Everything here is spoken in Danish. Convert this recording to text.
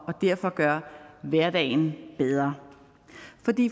og derfor gør hverdagen bedre